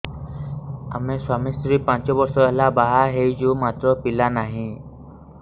ଆମେ ସ୍ୱାମୀ ସ୍ତ୍ରୀ ପାଞ୍ଚ ବର୍ଷ ହେଲା ବାହା ହେଇଛୁ ମାତ୍ର ପିଲା ନାହିଁ